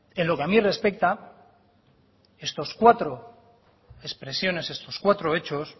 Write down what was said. en lo que a mí respecta estos cuatro expresiones estos cuatro hechos